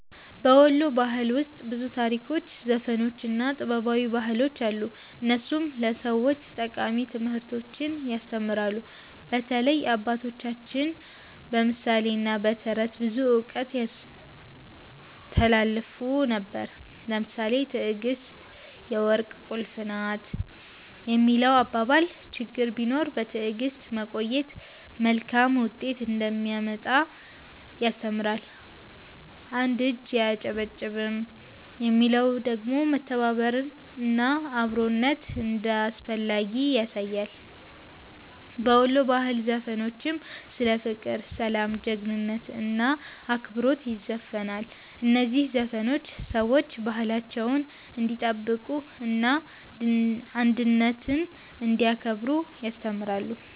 በ ወሎ ባህል ውስጥ ብዙ ታሪኮች፣ ዘፈኖች እና ጥበባዊ አባባሎች አሉ፣ እነሱም ለሰዎች ጠቃሚ ትምህርቶችን ያስተምራሉ። በተለይ አባቶቻችን በምሳሌ እና በተረት ብዙ እውቀት ያስተላልፉ ነበር። ለምሳሌ “ትዕግስት የወርቅ ቁልፍ ናት” የሚለው አባባል ችግር ቢኖርም በትዕግስት መቆየት መልካም ውጤት እንደሚያመጣ ያስተምራል። “አንድ እጅ አያጨበጭብም” የሚለው ደግሞ መተባበር እና አብሮነት እንዳስፈላጊ ያሳያል። በወሎ ባህላዊ ዘፈኖችም ስለ ፍቅር፣ ሰላም፣ ጀግንነት እና አክብሮት ይዘፈናል። እነዚህ ዘፈኖች ሰዎች ባህላቸውን እንዲጠብቁ እና አንድነትን እንዲያከብሩ ያስተምራሉ።